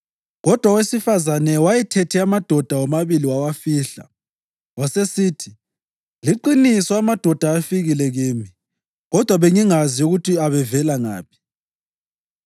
Kodwa owesifazane wayethethe amadoda womabili wawafihla. Wasesithi, “Liqiniso amadoda afikile kimi, kodwa bengingazi ukuthi abevela ngaphi.